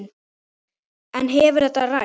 En hefur þetta ræst?